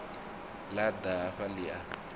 ḽa ḓa hafha ḽi a